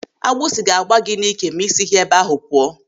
Agbụsi ga-agba gị n'ị́kè ma ị sighị ebe ahụ pụọ.